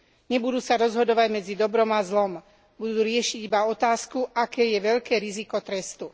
Nebudú sa rozhodovať medzi dobrom a zlom, budú riešiť iba otázku aké je veľké riziko trestu.